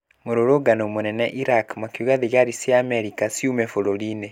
Mũrũrũngano mũnene Iraq makiuga thigari cia Amerika ciume bũrũrinĩ